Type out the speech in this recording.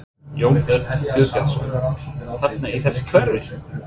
Jón Örn Guðbjartsson: Hérna í þessu hverfi?